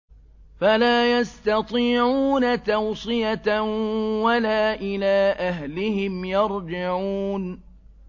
فَلَا يَسْتَطِيعُونَ تَوْصِيَةً وَلَا إِلَىٰ أَهْلِهِمْ يَرْجِعُونَ